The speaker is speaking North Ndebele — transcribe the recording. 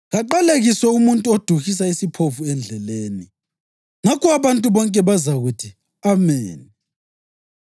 ‘Kaqalekiswe umuntu oduhisa isiphofu endleleni.’ Ngakho abantu bonke bazakuthi, ‘Ameni!’